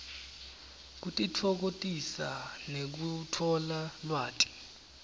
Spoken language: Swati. kutitfokotisa nekutfola lwati